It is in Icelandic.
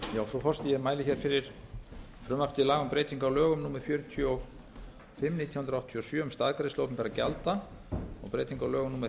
ég mæli hér fyrir frumvarpi til laga um breyting á lögum númer fjörutíu og fimm nítján hundruð áttatíu og sjö um staðgreiðslu opinberra gjalda og breyting á lögum númer